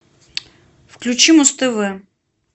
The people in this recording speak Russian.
включи муз тв